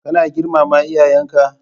Kana girmama iyayenka.